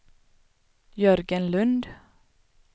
Jörgen Lund